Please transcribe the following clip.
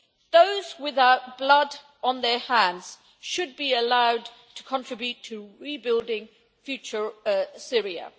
Those without blood on their hands should be allowed to contribute to rebuilding future Syria.